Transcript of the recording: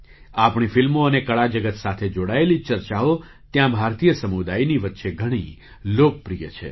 આપણી ફિલ્મો અને કળા જગત સાથે જોડાયેલી ચર્ચાઓ ત્યાં ભારતીય સમુદાયની વચ્ચે ઘણી લોકપ્રિય છે